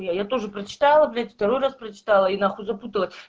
не я тоже прочитала блять второй раз прочитала и нахуй запуталась